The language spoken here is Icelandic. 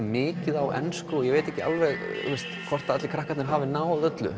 mikið á ensku og ég veit ekki hvort krakkarnir hefðu náð öllu